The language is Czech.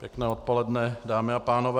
Pěkné odpoledne dámy a pánové.